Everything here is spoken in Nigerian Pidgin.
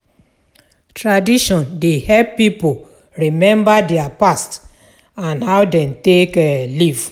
Tradition dey help pipo remmba dia past and how dem take um live